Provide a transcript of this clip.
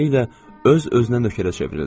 Beləliklə, öz-özünə nökərə çevrildim.